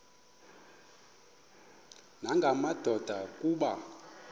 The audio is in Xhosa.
nanga madoda kuba